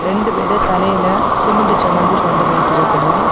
ரெண்டு பேரும் தலையில சிமெண்ட் சுமந்து கொண்டு போயிட்டு இருக்குனம்.